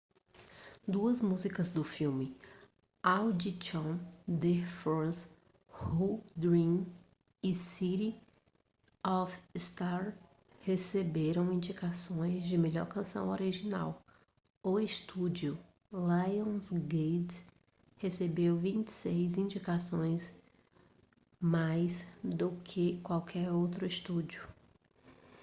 duas músicas do filme audition the fools who dream e city of stars receberam indicações de melhor canção original. o estúdio lionsgate recebeu 26 indicações - mais do que qualquer outro estúdio